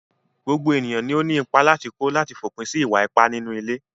Gbogbo ènìyàn ló ní ìpà látì kó látì fòpin sí ìwà-ìpá nínú ilé.